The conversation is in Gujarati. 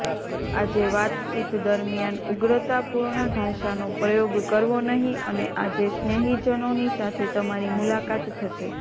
આજે વાતચીત દરમિયાન ઉગ્રતાપૂર્ણ ભાષાનો પ્રયોગ કરવો નહીં અને આજે સ્નેહીજનોની સાથે તમારી મુલાકાત થશે